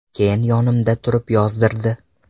Keyin yonimda turib yozdirdi.